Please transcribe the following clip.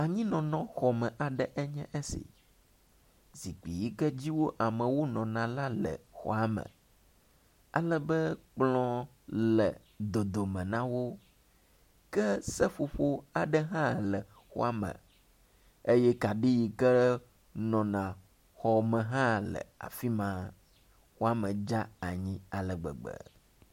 anyinɔnɔ xɔme aɖe enye si zikpi yike dzi wo amewo nɔna la le eme alebe kplɔ̃ le dodome nawo ke seƒoƒo aɖe hã le xɔame eye kaɖi yike nɔna xɔme hã nɔ afima eye xɔa me hã dzanyi alegbegbe